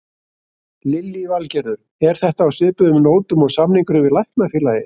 Lillý Valgerður: Er þetta á svipuðum nótum og samningurinn við Læknafélagið?